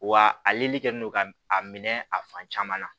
Wa aleli kɛlen don ka a minɛ a fan caman na